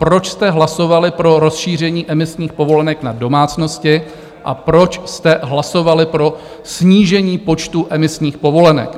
Proč jste hlasovali pro rozšíření emisních povolenek na domácnosti a proč jste hlasovali pro snížení počtu emisních povolenek?